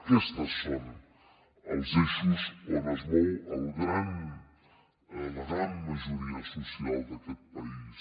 aquests són els eixos on es mou la gran majoria social d’aquest país